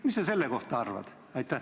Mida sa selle kohta arvad?